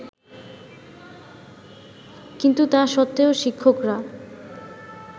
কিন্তু তা সত্ত্বেও শিক্ষকরা